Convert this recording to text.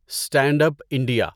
stand up India